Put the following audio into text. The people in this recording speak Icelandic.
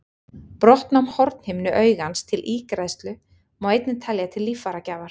Brottnám hornhimnu augans til ígræðslu má einnig telja til líffæragjafar.